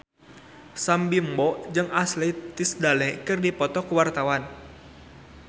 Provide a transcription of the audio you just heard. Sam Bimbo jeung Ashley Tisdale keur dipoto ku wartawan